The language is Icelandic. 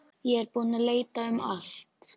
Ég er búinn að leita um allt.